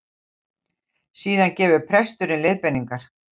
Síðan gefur presturinn leiðbeiningar